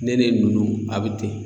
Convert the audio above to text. Ne nin nunnu a bɛ ten.